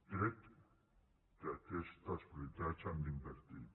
crec que aquestes prioritats s’han d’invertir